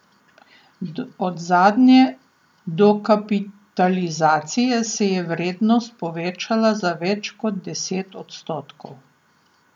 Od zadnje dokapitalizacije se je vrednost povečala za več kot deset odstotkov.